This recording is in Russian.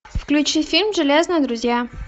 включи фильм железные друзья